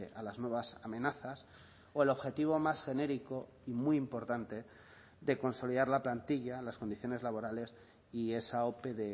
a las nuevas amenazas o el objetivo más genérico y muy importante de consolidar la plantilla las condiciones laborales y esa ope